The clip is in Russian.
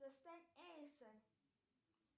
достать эйса